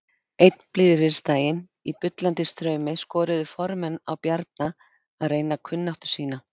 Einn blíðviðrisdaginn í bullandi straumi skoruðu formenn á Bjarna að reyna kunnáttu sína.